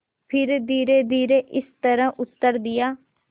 फिर धीरेधीरे इस तरह उत्तर दिया